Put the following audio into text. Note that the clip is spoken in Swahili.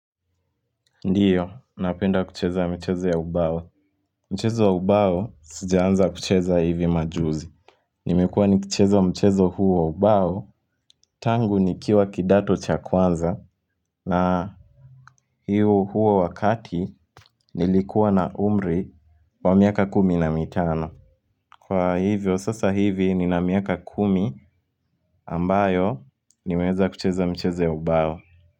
Ndiyo, napenda kucheza michezo ya ubao. Mchezo wa ubao, sijaanza kucheza hivi majuzi. Nimekuwa nikicheza mchezo huo wa ubao. Tangu nikiwa kidato cha kwanza. Na huo wakati, nilikuwa na umri wa miaka kumi na mitano. Kwa hivyo sasa hivi nina miaka kumi. Ambayo nimeweza kucheza michezo ya ubao.